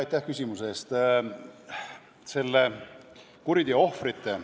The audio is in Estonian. Aitäh küsimuse eest!